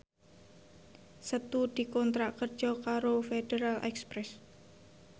Setu dikontrak kerja karo Federal Express